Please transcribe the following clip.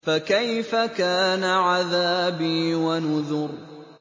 فَكَيْفَ كَانَ عَذَابِي وَنُذُرِ